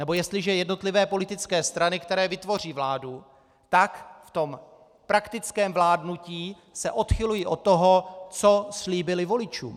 Nebo jestliže jednotlivé politické strany, které vytvoří vládu, tak v tom praktickém vládnutí se odchylují od toho, co slíbily voličům.